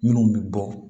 Minnu bɛ bɔ